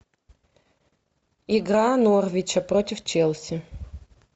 игра норвича против челси